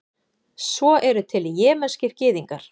svo eru til jemenskir gyðingar